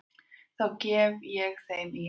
Það gef ég þeim í arf.